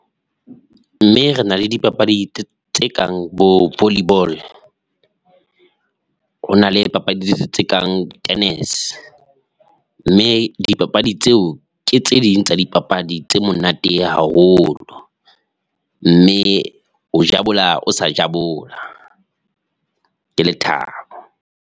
Mme re na le dipapadi tse kang bo volley ball, ho na le papadi tse kang tennis mme dipapadi tseo ke tse ding tsa dipapadi tse monate haholo mme o jabula o sa jabula ke lethabo.